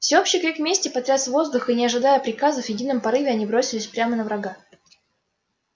всеобщий крик мести потряс воздух и не ожидая приказов в едином порыве они бросились прямо на врага